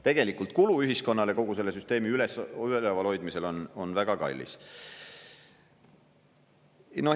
Tegelikult kulu ühiskonnale, kogu selle süsteemi ülevalhoidmisele on väga kallis.